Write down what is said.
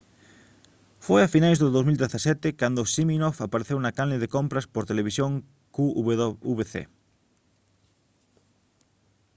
foi a finais de 2017 cando siminoff apareceu na canle de compras por televisión qvc